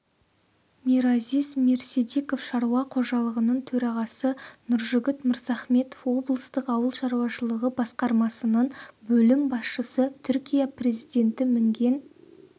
миразиз мирсидиков шаруа қожалығының төрағасы нұржігіт мырзахметов облыстық ауыл шаруашылығы басқармасының бөлім басшысы түркия президенті мінген